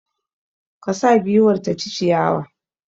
Ka sa giwar ta ci ciyawa!